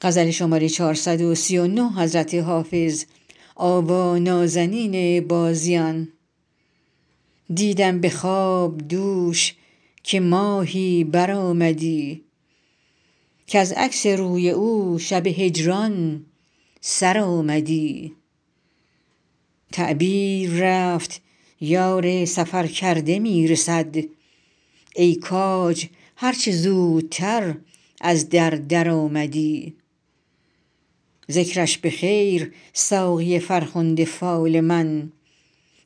دیدم به خواب دوش که ماهی برآمدی کز عکس روی او شب هجران سر آمدی تعبیر رفت یار سفرکرده می رسد ای کاج هر چه زودتر از در درآمدی ذکرش به خیر ساقی فرخنده فال من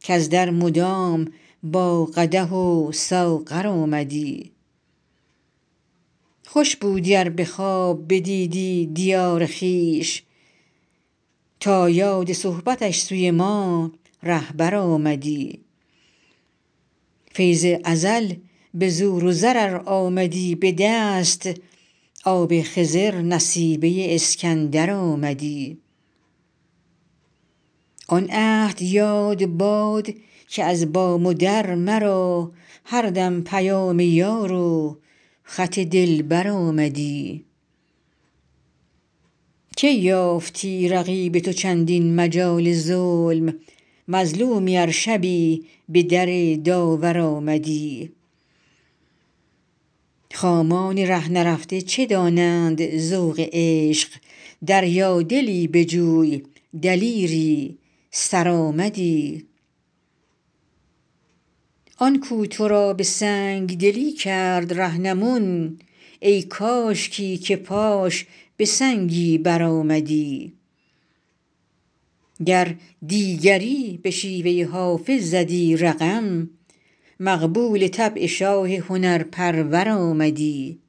کز در مدام با قدح و ساغر آمدی خوش بودی ار به خواب بدیدی دیار خویش تا یاد صحبتش سوی ما رهبر آمدی فیض ازل به زور و زر ار آمدی به دست آب خضر نصیبه اسکندر آمدی آن عهد یاد باد که از بام و در مرا هر دم پیام یار و خط دلبر آمدی کی یافتی رقیب تو چندین مجال ظلم مظلومی ار شبی به در داور آمدی خامان ره نرفته چه دانند ذوق عشق دریادلی بجوی دلیری سرآمدی آن کو تو را به سنگ دلی کرد رهنمون ای کاشکی که پاش به سنگی برآمدی گر دیگری به شیوه حافظ زدی رقم مقبول طبع شاه هنرپرور آمدی